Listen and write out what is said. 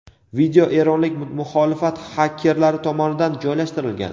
video eronlik muxolifat xakerlari tomonidan joylashtirilgan.